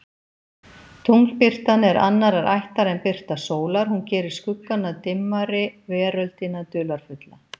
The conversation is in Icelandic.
Tunglbirtan er annarrar ættar en birta sólar, hún gerir skuggana dimmari, veröldina dularfulla.